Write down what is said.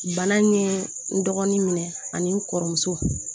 Bana in ye n dɔgɔnin minɛ ani n kɔrɔmuso